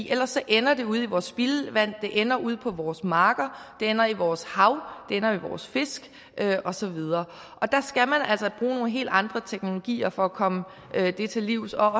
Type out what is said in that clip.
ellers ender det ude i vores spildevand det ender ude på vores marker det ender i vores hav det ender i vores fisk og så videre og der skal man altså nogle helt andre teknologier for at komme det til livs og